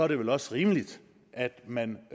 det vel også rimeligt at man